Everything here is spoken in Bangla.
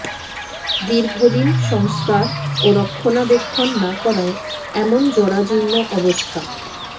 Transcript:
দীর্ঘদিন সংস্কার ও রক্ষণাবেক্ষণ না করায় এমন জরাজীর্ণ অবস্থা